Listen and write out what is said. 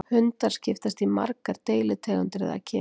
hundar skiptast í margar deilitegundir eða kyn